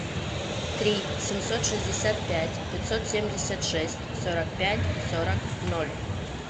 три семьсот шестьдесят пять пятьсот семьдесят шесть сорок пять сорок ноль